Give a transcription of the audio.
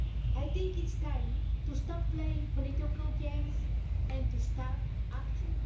I think it's time to stop playing political games and start acting.